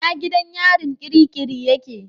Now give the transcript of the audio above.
Ina gidan yarin kirikiri yake?